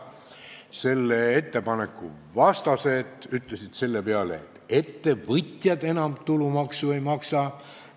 Selle ettepaneku vastased ütlesid seepeale, et ettevõtjad enam tulumaksu ei maksa.